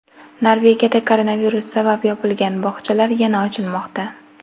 Norvegiyada koronavirus sabab yopilgan bog‘chalar yana ochilmoqda .